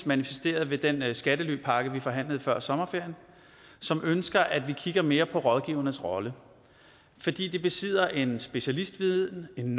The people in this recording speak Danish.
manifesteret ved den skattelypakke vi forhandlede før sommerferien som ønsker at vi kigger mere på rådgivernes rolle fordi de besidder en specialistviden en